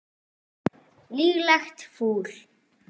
Líklegt fúl.